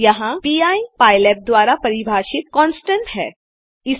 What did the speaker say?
यहाँ pi PyLab द्वारा परिभाषित कांस्टेंट कान्स्टन्ट है